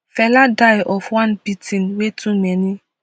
fela die of one beating wey too many